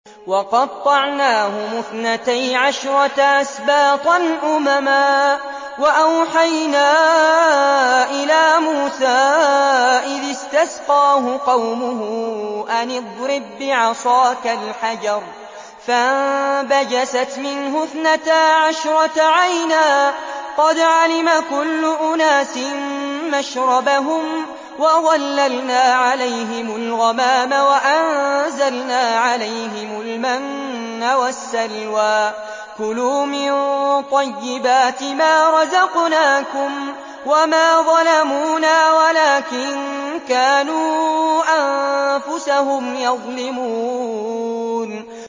وَقَطَّعْنَاهُمُ اثْنَتَيْ عَشْرَةَ أَسْبَاطًا أُمَمًا ۚ وَأَوْحَيْنَا إِلَىٰ مُوسَىٰ إِذِ اسْتَسْقَاهُ قَوْمُهُ أَنِ اضْرِب بِّعَصَاكَ الْحَجَرَ ۖ فَانبَجَسَتْ مِنْهُ اثْنَتَا عَشْرَةَ عَيْنًا ۖ قَدْ عَلِمَ كُلُّ أُنَاسٍ مَّشْرَبَهُمْ ۚ وَظَلَّلْنَا عَلَيْهِمُ الْغَمَامَ وَأَنزَلْنَا عَلَيْهِمُ الْمَنَّ وَالسَّلْوَىٰ ۖ كُلُوا مِن طَيِّبَاتِ مَا رَزَقْنَاكُمْ ۚ وَمَا ظَلَمُونَا وَلَٰكِن كَانُوا أَنفُسَهُمْ يَظْلِمُونَ